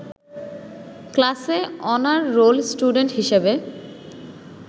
ক্লাসে honour roll student হিসাবে